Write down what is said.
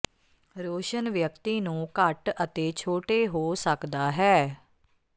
ਰੋਸ਼ਨ ਵਿਅਕਤੀ ਨੂੰ ਘੱਟ ਅਤੇ ਛੋਟੇ ਹੋ ਸਕਦਾ ਹੈ